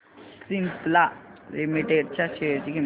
Cipla limited च्या share ची किंमत